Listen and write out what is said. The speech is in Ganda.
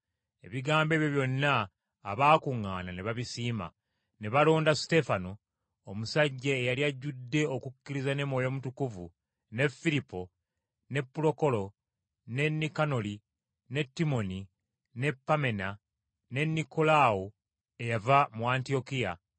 Ebigambo ebyo byonna abaakuŋŋaana ne babisiima. Ne balonda Suteefano, omusajja eyali ajjudde okukkiriza ne Mwoyo Mutukuvu, ne Firipo, ne Pulokolo, ne Nikanoli, ne Timooni, ne Pammena, ne Nikolaawo eyava mu Antiyokiya,